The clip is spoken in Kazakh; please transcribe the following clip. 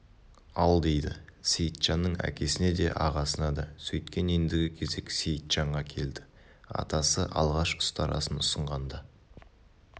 ал дейді сейітжанның әкесіне де ағасына да сөйткен ендігі кезек сейітжанға келді атасы алғаш ұстарасын ұсынғанда